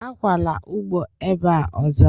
Akwala ugbo ebe a ozo!